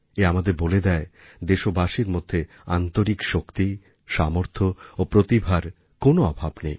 এ আমাদের বলে দেয় দেশবাসীর মধ্যে আন্তরিক শক্তি সামর্থ্য ও প্রতিভার কোনো অভাব নেই